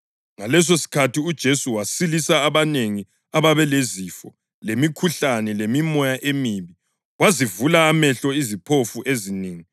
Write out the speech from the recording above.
Ngalesosikhathi uJesu wasilisa abanengi ababelezifo, lemikhuhlane lemimoya emibi, wazivula amehlo iziphofu ezinengi.